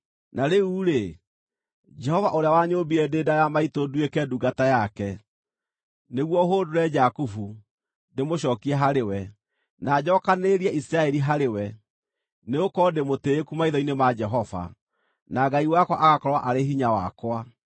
Na rĩu-rĩ, Jehova ũrĩa wanyũũmbire ndĩ nda ya maitũ nduĩke ndungata yake, nĩguo hũndũre Jakubu, ndĩmũcookie harĩ we, na njookanĩrĩrie Isiraeli harĩ we, nĩgũkorwo ndĩ mũtĩĩku maitho-inĩ ma Jehova, na Ngai wakwa agakorwo arĩ hinya wakwa,